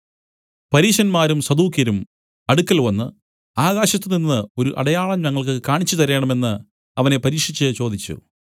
പരീശന്മാരും സദൂക്യരും അടുക്കൽ വന്നു ആകാശത്തുനിന്ന് ഒരു അടയാളം ഞങ്ങൾക്ക് കാണിച്ചുതരണമെന്ന് അവനെ പരീക്ഷിച്ച് ചോദിച്ചു